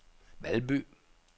Valby